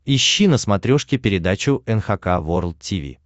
ищи на смотрешке передачу эн эйч кей волд ти ви